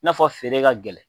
I n'a fɔ feere ka gɛlɛ.